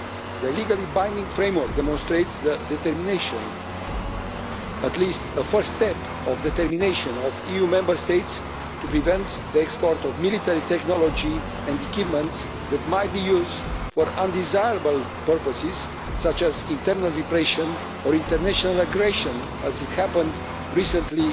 The legally binding framework demonstrates the determination, or at least a first step towards determination, of EU Member States to prevent the export of military technology and equipment that might be used for undesirable purposes such as internal repression or international aggression, as happened recently